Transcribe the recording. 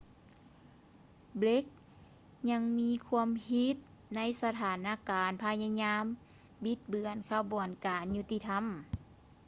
ເບຼກ blake ຍັງມີຄວາມຜິດໃນສະຖານການພະຍາຍາມບິດເບືອນຂະບວນການຍຸດຕິທຳ